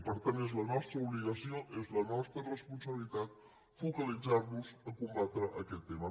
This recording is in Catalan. per tant és la nostra obligació és la nostra responsabilitat focalitzar nos a combatre aquest tema